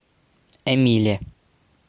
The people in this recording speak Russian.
эмиле